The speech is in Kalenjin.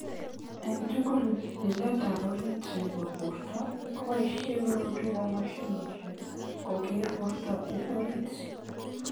Ing tugul: Lilet ap orit nepo porto ko poishe korotwek ap machinishek koker porto ing orit.